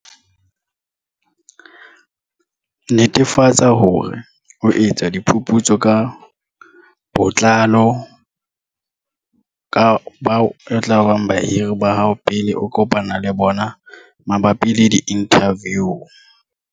Netefatsa hore o etsa diphuputso ka botlalo ka bao e tlabang bahiri ba hao pele o kopana le bona mabapi le diinthaviu.